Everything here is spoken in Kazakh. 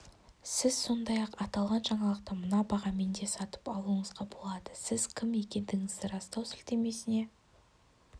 сіз сондай-ақ аталған жаңалықты мына бағамен де сатып алуыңызға болады сіз кім екендігіңізді растау сілтемесіне